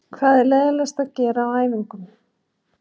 Hvað er leiðinlegast að gera á æfingum?